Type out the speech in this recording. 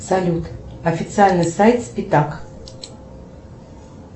салют официальный сайт спитак